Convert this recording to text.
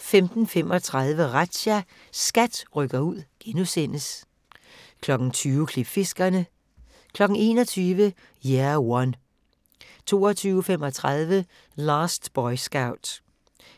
15:35: Razzia – SKAT rykker ud * 20:00: Klipfiskerne 21:00: Year One 22:35: Last Boy Scout